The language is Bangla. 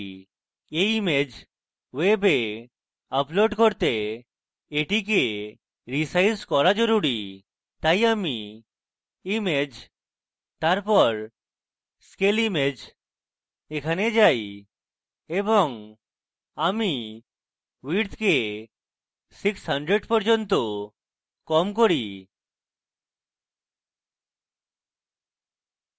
এই image ওয়েবে আপলোড করতে এটি রীসাইজ করা জরুরী তাই আমি image scale image a যাই এবং আমি width কে 600 পর্যন্ত কম করি